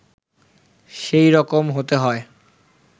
সেই রকম হতে হয়